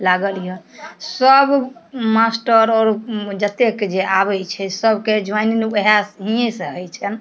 लागल या सब मास्टर और जते के जेई आवे छै सब के जोइनिंग वुहा यही से हई छै ।